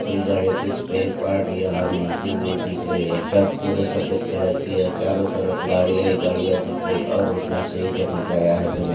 कुछ गाड़िओं के स्पेअर पार्ट यहा मिलते हुए दिख रहे है छत पूरे सफ़ेद कलर की है चारो तरफ गाड़ियां ही गाड़ियां दिख रही है और रोशनाई से जग मगया है धन्य--